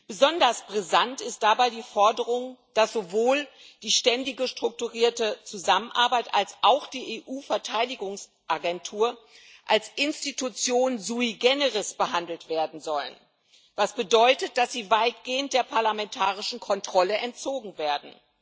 Besonders brisant ist dabei die Forderung, dass sowohl die ständige strukturierte Zusammenarbeit als auch die EU Verteidigungsagentur als Institution sui generis behandelt werden sollen, was bedeutet, dass sie weitgehend der parlamentarischen Kontrolle entzogen werden.